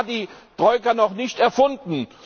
Da war die Troika noch nicht erfunden.